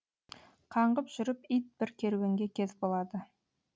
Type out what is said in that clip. қаңғып жүріп ит бір керуенге кез болады